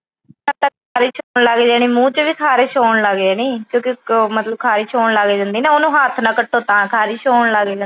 ਮੂੰਹ ਚ ਵੀ ਖਾਰਿਸ਼ ਹੋਣ ਲੱਗ ਜਾਣੀ ਕਿਉਂਕਿ ਖਾਰਿਸ਼ ਹੋਣ ਲੱਗ ਜਾਂਦੀ ਆ ਨਾ ਉਹਨੂੰ ਹੱਥ ਨਾਲ ਕੱਟੋ ਤਾਂ ਖਾਰਿਸ਼ ਹੋਣ ਲੱਗ ਜਾਂਦੀ ਆ।